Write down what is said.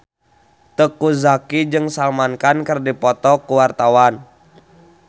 Teuku Zacky jeung Salman Khan keur dipoto ku wartawan